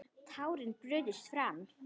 Tárin brutust fram.